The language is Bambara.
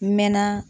N mɛɛnna